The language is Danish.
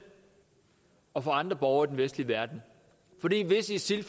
og for andre borgere i den vestlige verden hvis isil